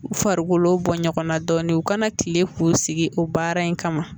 U farikolo bɔ ɲɔgɔnna dɔɔnin u kana tile k'u sigi o baara in kama